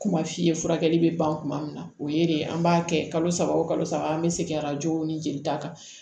Kuma f'i ye furakɛli bɛ ban kuma min na o ye de ye an b'a kɛ kalo saba o kalo saba an bɛ segin arajo ni jelita kan